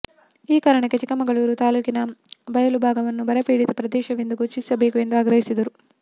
ಈ ಕಾರಣಕ್ಕೆ ಚಿಕ್ಕಮಗಳೂರು ತಾಲೂಕಿನ ಬಯಲು ಭಾಗವನ್ನು ಬರಪೀಡಿತ ಪ್ರದೇಶವೆಂದು ಘೋಷಿಸಬೇಕು ಎಂದು ಆಗ್ರಹಿಸಿದರು